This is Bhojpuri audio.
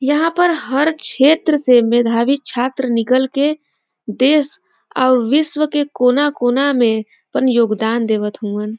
यहां पर हर क्षेत्र से मेधावी छात्र निकल के देश और विश्व के कोना-कोना में आपन योगदान देवत हउवन।